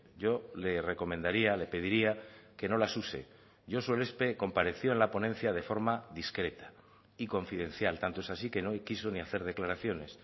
yo le recomendaría le pediría que no las use josu elespe compareció en la ponencia de forma discreta y confidencial tanto es así que no quiso ni hacer declaraciones